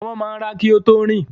Ọmọ máa ń rà kí ó tó rìn